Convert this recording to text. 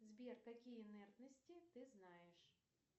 сбер какие инертности ты знаешь